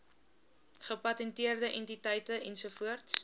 gepatenteerde entiteite ens